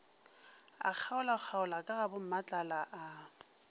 a kgaolakgaola ka gabommatlala a